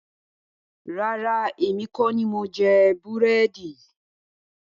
Rárá, èmi kọ ní mo jẹ búrẹ́dì